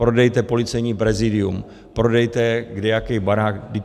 Prodejte Policejní prezidium, prodejte kdejaký barák.